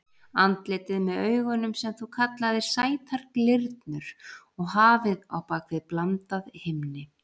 Andlitið með augunum sem þú kallaðir sætar glyrnur og hafið á bak við blandað himni.